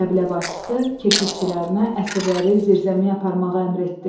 Qəbilə başçısı keşikçilərinə əsirləri zirzəmiyə aparmağı əmr etdi.